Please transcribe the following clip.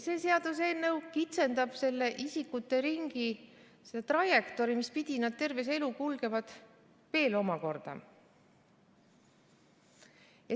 See seaduseelnõu kitsendab selle isikute ringi trajektoori, mispidi nad terve elu kulgevad, veel omakorda.